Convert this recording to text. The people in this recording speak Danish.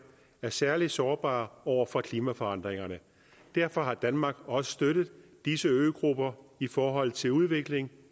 er særlig sårbare over for klimaforandringerne derfor har danmark også støttet disse øgrupper i forhold til udvikling